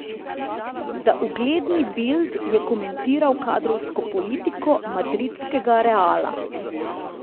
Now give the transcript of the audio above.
Za ugledni Bild je komentiral kadrovsko politiko madridskega Reala.